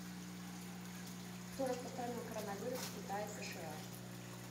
кто распространил коронавирус в китае сша